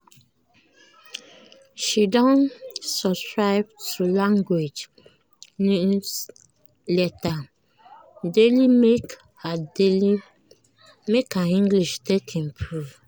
she don subscribe to language newsletter daily make her daily make her english take improve.